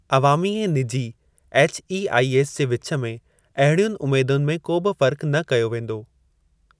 अवामी ऐं निजी एचईआईएस जे विचु में अहिड़ियुनि उमेदुनि में को बि फ़र्क़ु न कयो वेंदो।